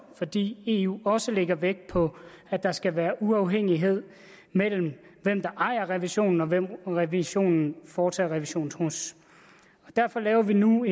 fordi eu også lægger vægt på at der skal være uafhængighed mellem den der ejer revisionen og den som revisionen foretager revision hos derfor laver vi nu